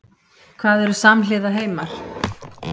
Hvað eru samhliða heimar?